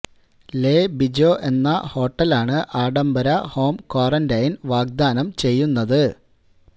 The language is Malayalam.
ലേ ബിജോ എന്ന ഹോട്ടലാണ് ആഡംബര ഹോം ക്വാറന്റൈന് വാഗ്ദാനം ചെയ്യുന്നത്